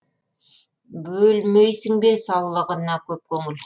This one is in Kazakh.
бөлмейсің бе саулығыңа көп көңіл